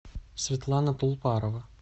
светлана пулпарова